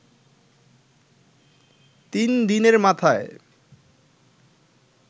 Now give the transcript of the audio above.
তিন দিনের মাথায়